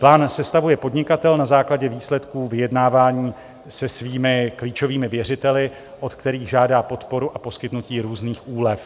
Plán sestavuje podnikatel na základě výsledků vyjednávání se svými klíčovými věřiteli, od kterých žádá podporu a poskytnutí různých úlev.